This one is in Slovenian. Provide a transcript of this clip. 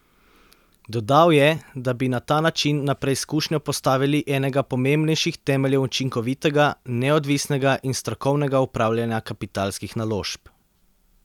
Dodal je, da bi na ta način na preizkušnjo postavili enega pomembnejših temeljev učinkovitega, neodvisnega in strokovnega upravljanja kapitalskih naložb.